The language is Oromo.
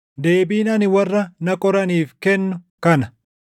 Deebiin ani warra na qoraniif kennu kana.